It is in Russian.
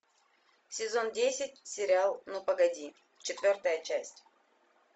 сезон десять сериал ну погоди четвертая часть